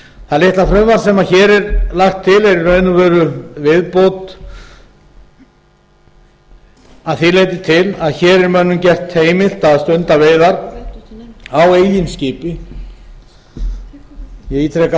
það litla frumvarp sem hér er lagt til er í raun og veru viðbót að því leyti til að hér er mönnum gert heimilt að stunda veiðar á eigin skipi ég ítreka